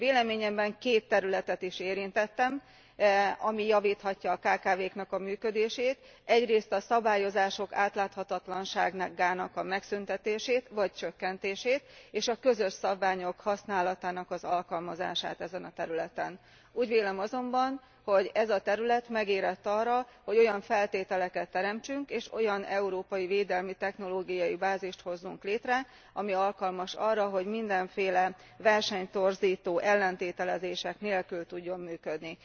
Véleményemben két területet is érintettem, amelyeken keresztül javítható a kkv k működése, egyrészt a szabályozások átláthatatlanságának megszűntetését vagy csökkentését és a közös szabványok használatának alkalmazását ezen a területen. Úgy vélem azonban, hogy ez a terület megérett arra, hogy olyan feltételeket teremtsünk, és olyan európai védelmi technológiai bázist hozzunk létre, amely alkalmas arra, hogy mindenféle versenytorzító ellentételezések nélkül tudjon működni.